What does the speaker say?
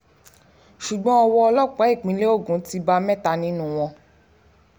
ṣùgbọ́n owó ọlọ́pàá ìpínlẹ̀ ogun ti bá mẹ́ta nínú wọn